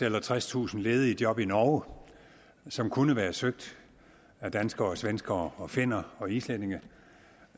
eller tredstusind ledige job i norge som kunne være søgt af danskere svenskere finner og islændinge